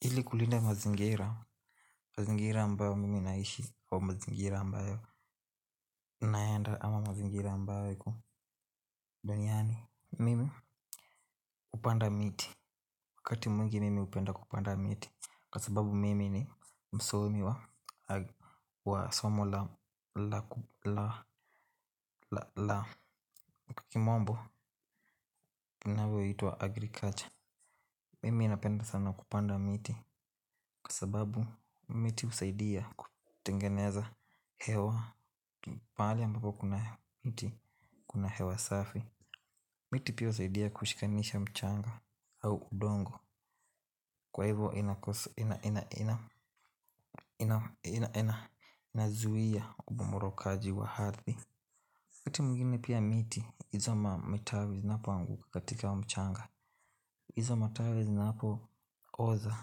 Ili kulinda mazingira, mazingira ambayo mimi naishi wa mazingira ambayo naenda ama mazingira ambayo iko Duniani, mimi hupanda miti. Wakati mwingine mimi upenda kupanda miti. Kwa sababu mimi ni msomi wa wa somo la La La Kimombo Kinavyoitwa agriculture. Mimi napenda sana kupanda miti kwa sababu miti husaidia Kutengeneza Hewa mahali ambapo kuna miti kuna hewa safi miti pia husaidia kushikanisha mchanga. Au udongo. Kwa hivo inakos ina ina ina Inazuia Ubumurokaji wa ardhi wakati mwingine pia miti izo matawi zinapoanguka katika mchanga. Izo matawi zinaopoza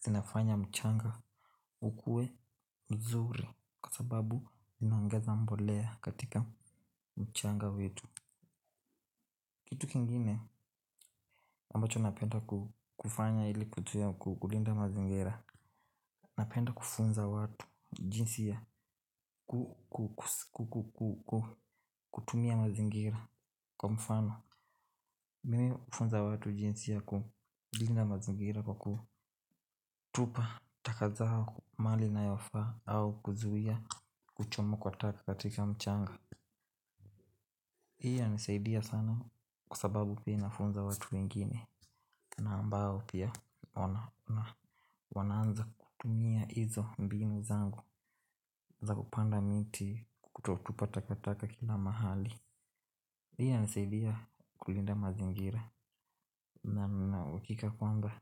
zinafanya mchanga ukue Mzuri. Kwa sababu zinaongeza mbolea katika mchanga wetu. Kitu kingine ambacho napenda kufanya ili kutuia kulinda mazingira. Napenda kufunza watu jinsi ya kutumia mazingira. Kwa mfano nimimi ufunza watu jinsi ya kulinda mazingira. Kwa kutupa taka zao mahali inayofaa au kuzuia kuchoma kwa taka katika mchanga. Hii yanisaidia sana kwa sababu pia inafunza watu wengine na ambao pia wanaanza kutumia hizo mbinu zangu za kupanda miti kutotupa takataka kila mahali. Hii inanisaidia kulinda mazingira. Na na uhakika kwamba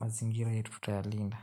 mazingira yetu tutayalinda.